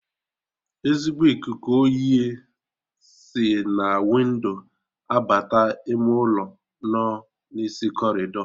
Ezigbo ikuku oyi si na windo abata ime ụlọ nọ n'isi corridor